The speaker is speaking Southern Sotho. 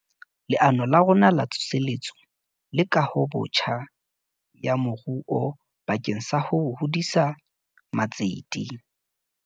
Leano la rona La Tsoseletso le Kahobotjha ya Moruo bakeng sa ho hodisa matsete.